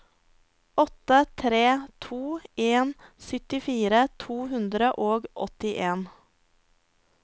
åtte tre to en syttifire to hundre og åttien